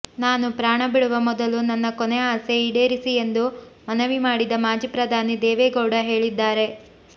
ನಾನು ಪ್ರಾಣ ಬಿಡುವ ಮೊದಲು ನನ್ನ ಕೊನೆ ಆಸೆ ಈಡೇರಿಸಿ ಎಂದು ಮನವಿ ಮಾಡಿದ ಮಾಜಿ ಪ್ರಧಾನಿ ದೇವೇಗೌಡ ಹೇಳಿದ್ದಾರೆ